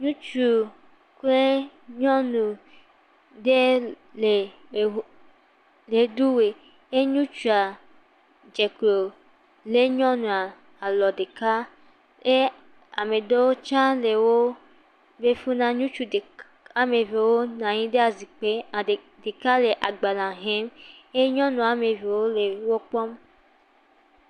Ŋutsu kple nyɔnu aɖewo le ɣe, eɖu ɣe. Ke ŋutsua dze klo he nyɔnua alo ɖeka eye ame ɖe tsã le wò, ŋutsu ɖeka, ame evewo nɔ anyi ɖe ezikpui ɖeka dzi le agbalẽ xlẽm.